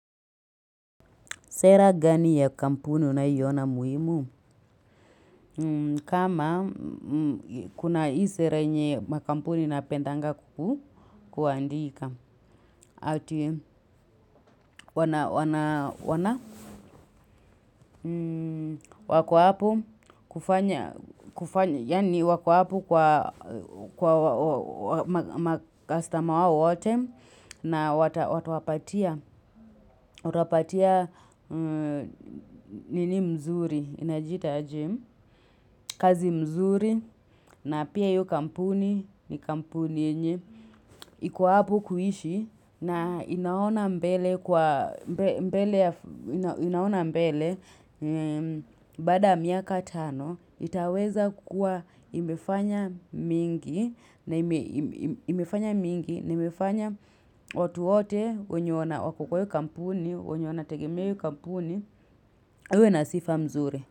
Sera gani ya kampuni unaiona muhimu? Kama kuna hii sera yenye makampuni napendanga kuku, kuandika. Ati wana wana wana wako hapo kufanya, yani wako hapo kwa makastama wao wote na watawapatia nini mzuri. Inajiita aje, kazi mzuri na pia hio kampuni ni kampuni yenye iko hapo kuishi na inaona mbele kwa mbele inaona mbele baada miaka tano itaweza kukua imefanya mingi na imefanya mingi na imefanya watu wote wenye wako kwa io kampuni wenye wanategemea io kampuni wawe na sifa mzuri.